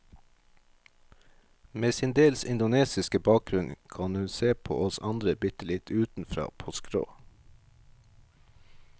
Med sin dels indonesiske bakgrunn kan hun se på oss andre bitte litt utenfra, på skrå.